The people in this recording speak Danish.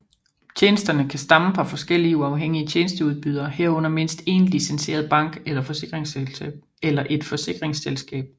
Tjenesterne kan stamme fra forskellige uafhængige tjenesteudbydere herunder mindst én licenseret bank eller et forsikringsselskab